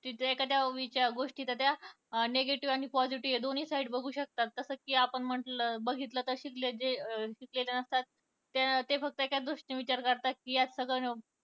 तिथे एखाद्या त्या गोष्टीचा त्या negative आणि positive या दोन्ही side बघू शकतात. तसच कि आपण म्हंटल बघितलं कि शिकल शिकलेले नसतात ते फक्त एकाच गोष्टीचा विचार करतात कि यात सगळं